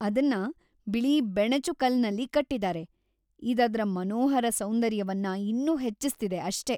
ಅದನ್ನ ಬಿಳಿ ಬೆಣಚುಕಲ್ಲನ್ನಲ್ಲಿ ಕಟ್ಟಿದಾರೆ, ಇದ್‌ ಅದ್ರ ಮನೋಹರ ಸೌಂದರ್ಯವನ್ನ ಇನ್ನೂ ಹೆಚ್ಚಿಸ್ತಿದೆ ಅಷ್ಟೇ.